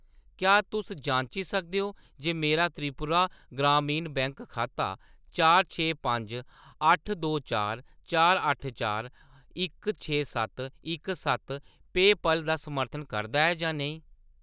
क्या तुस जांची सकदे ओ जे मेरा त्रिपुरा ग्रामीण बैंक खाता चार छे पंज अट्ठ दो चार चार अट्ठ चार इक छे सत्त इक सत्त पेऽपाल दा समर्थन करदा ऐ जां नेईं ?